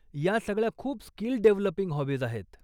ह्या सगळ्या खूप स्किल डेव्हलपिंग हाॅबीज् आहेत.